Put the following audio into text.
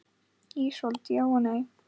Ísold: Já og nei.